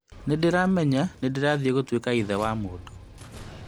Nĩndĩramenya nĩndĩrathiĩ gũtuĩka ithe wa mũndũ